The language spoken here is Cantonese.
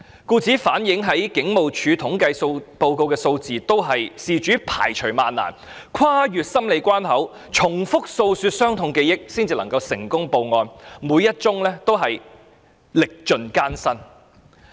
故此，警務處統計數字所反映的，全都是事主排除萬難、跨越多個心理關口、重複訴說傷痛記憶後才成功舉報的罪案，每一宗都歷盡艱辛。